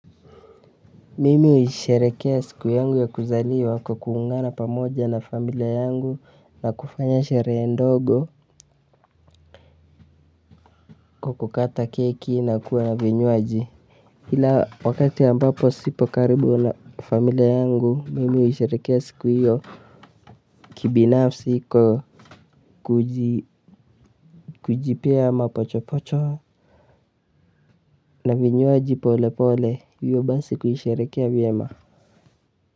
Mimi husherehekea siku yangu ya kuzaliwa kwa kuungana pamoja na familia yangu na kufanya sherehe ndogo kwa kukata keki na kuwa na vinywaji ila wakati ambapo sipo karibu na familia yangu mimi huisherehekea siku hiyo kibinafsi iko kujipea mapocho pocho na vinywaji pole pole hiyo basi kuisherehekea vyema.